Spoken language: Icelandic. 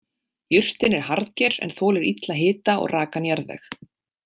Jurtin er harðger en þolir illa hita og rakan jarðveg.